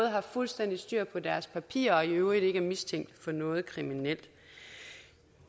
har fuldstændig styr på deres papirer og i øvrigt ikke er mistænkt for noget kriminelt